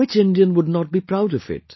Which Indian would not be proud of it